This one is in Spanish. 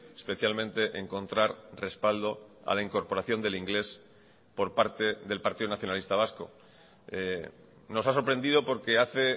especialmente encontrar respaldo a la incorporación del inglés por parte del partido nacionalista vasco nos ha sorprendido porque hace